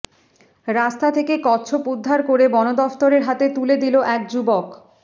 রাস্তা থেকে কচ্ছপ উদ্ধার করে বন দফতরের হাতে তুলে দিল এক যুবক